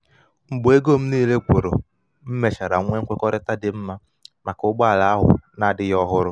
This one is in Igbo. mgbe ego m niile gwuru m mechara nwee nkwekọrịta dị mma maka ụgbọ ala ahu adighi ohuru